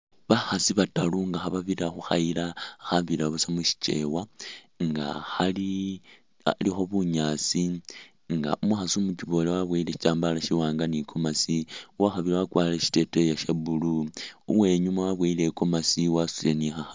Bakhaasi bataaru nga khababirira khukhayila khabira busa musichewa nga khali khalikho bunyaasi nga umukhaasi umukiboole wabowele shitambala shiwaanga ni gomasi uwakhabili wakwalire shiteteyi sha blue uwenyuma wabowele i'gomasi wasutile ni kha..